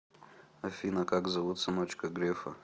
афина как зовут сыночка грефа